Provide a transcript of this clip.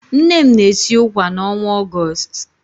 Nne m na-esi ụkwà n'ọnwa Ọgọọst.